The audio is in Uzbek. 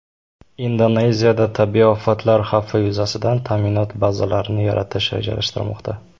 Indoneziyada tabiiy ofatlar xavfi yuzasidan ta’minot bazalarini yaratish rejalashtirmoqda.